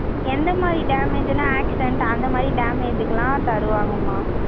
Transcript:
எந்த மாதிரி damage ன்னா, accident அந்த மாதிரி damage க்கு எல்லாம், தருவாங்கம்மா